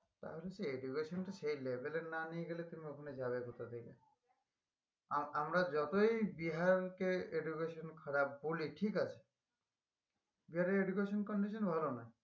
তাহলে কি education টা সেই level এর না নিয়ে গেলে তুমি ওখানে যাবে কোথা থেকে আম~আমরা যতই বিহার কে education খারাপ বলি ঠিক আছে বিহারের education condition ভালো না